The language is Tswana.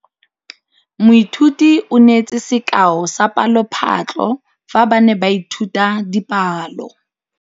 Moithuti o neetse sekaô sa palophatlo fa ba ne ba ithuta dipalo.